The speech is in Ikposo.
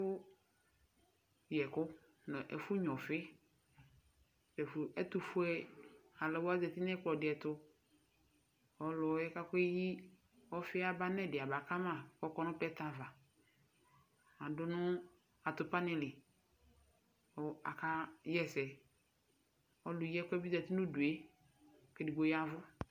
Ɛfu yɛku nu ɛfu nya ɛku ɛtufue aluɛdini zati nu ɛkplɔtu ɔliɛ keyi ɔfi aba nu ɛdi abakama kɔ nuplɛtɛdi aʋaadu nu atupa dinili ku akaɣa ɛsɛ ɔlu yi ɛkuɛ bi zati nu udue ku edigbo yavu